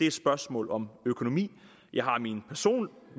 et spørgsmål om økonomi jeg har